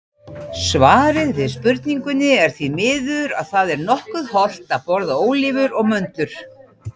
Svarið við spurningunni er því að það er nokkuð hollt að borða ólívur og möndlur.